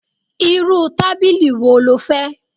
Irú tábìlì wo ló fẹ́?